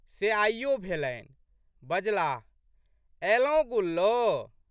से आइयो भेलनि। बजलाह, अएलौं गुल्लो?